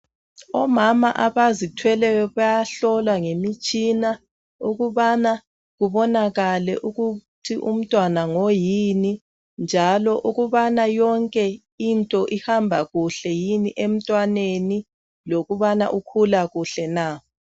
omama abazithweleyo bayahlolwa ngemitshina ukubana kubonakale ukuthi umntwana ngoyini njalo ukubana yonke into ihamba kuhle emntwaneni lokubana ukhula kuhle na